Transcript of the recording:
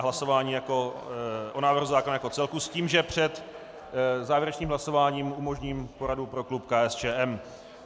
A hlasování o návrhu zákona jako celku s tím, že před závěrečným hlasováním umožním poradu pro klub KSČM.